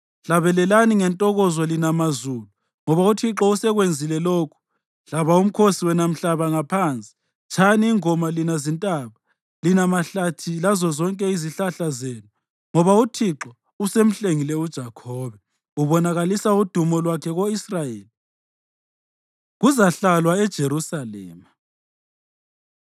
Hlabelelani ngentokozo, lina mazulu, ngoba uThixo usekwenzile lokhu; hlaba umkhosi, wena mhlaba ngaphansi. Tshayani ingoma lina zintaba, lina mahlathi lazozonke izihlahla zenu, ngoba uThixo usemhlengile uJakhobe, ubonakalisa udumo lwakhe ko-Israyeli. Kuzahlalwa EJerusalema